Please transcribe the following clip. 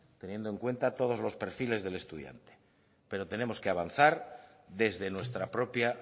teniendo en cuenta todos los perfiles del estudiante pero tenemos que avanzar desde nuestra propia